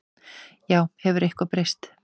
Já, hefur eitthvað breyst?